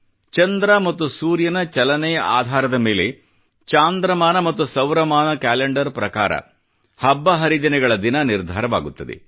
ಚಂದ್ರ ಮತ್ತು ಸೂರ್ಯನ ಚಲನೆಯ ಆಧಾರದ ಮೇಲೆ ಚಾಂದ್ರಮಾನ ಮತ್ತು ಸೌರಮಾನ ಕ್ಯಾಲೆಂಡರ್ ಪ್ರಕಾರ ಹಬ್ಬ ಹರಿದಿನಗಳ ತಿಥಿ ನಿರ್ಧಾರವಾಗುತ್ತದೆ